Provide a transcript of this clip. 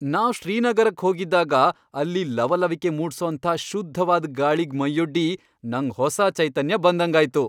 ನಾವ್ ಶ್ರೀನಗರಕ್ ಹೋಗಿದ್ದಾಗ ಅಲ್ಲಿ ಲವಲವಿಕೆ ಮೂಡ್ಸೋಂಥ ಶುದ್ಧವಾದ್ ಗಾಳಿಗ್ ಮೈಯೊಡ್ಡಿ ನಂಗ್ ಹೊಸ ಚೈತನ್ಯ ಬಂದಂಗಾಯ್ತು.